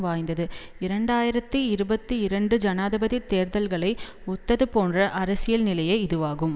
வாய்ந்தது இரண்டு ஆயிரத்தி இருபத்தி இரண்டு ஜனாதிபதி தேர்தல்களை ஒத்தது போன்ற அரசியல்நிலையே இதுவாகும்